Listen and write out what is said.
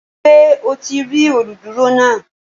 Ṣé o ti rí olùdúró náà?